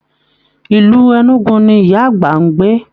Ilú Enugu ní ìyá àgbà n gbé.